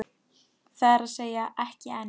Það er að segja, ekki enn.